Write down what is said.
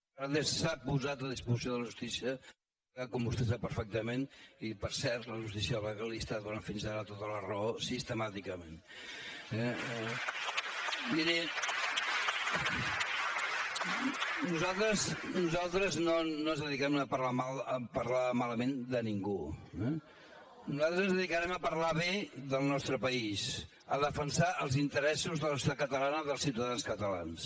a vegades s’ha posat a disposició de la justícia com vostè sap perfectament i per cert la justícia legalista li ha donat fins ara tota la raó sistemàticament eh miri nosaltres no ens dediquem a parlar malament de ningú eh nosaltres ens dedicarem a parlar bé del nostre país a defensar els interessos de la societat catalana dels ciutadans catalans